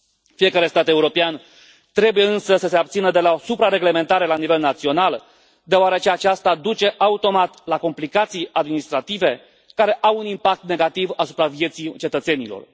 Fiecare stat european trebuie, însă, să se abțină de la o supra reglementare la nivel național, deoarece aceasta duce automat la complicații administrative, care au un impact negativ asupra vieții cetățenilor.